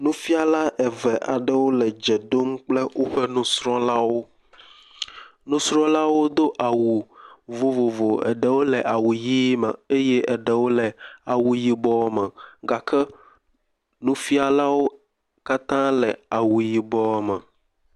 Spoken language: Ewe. Nufiala eve aɖewo le dze ɖom kple woƒe nusrɔ̃lawo, nusrɔ̃lawo do awu vovovo, eɖewo le awuʋi me eye eɖewo le awu yibɔ me gake nufialawo katã le awu yibɔ me.